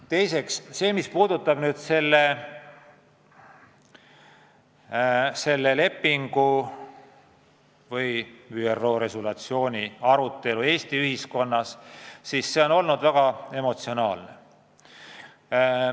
Teiseks, mis puudutab selle ÜRO resolutsiooni arutelu Eesti ühiskonnas, siis see on olnud väga emotsionaalne.